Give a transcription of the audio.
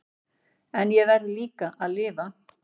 En ég verð líka að lifa.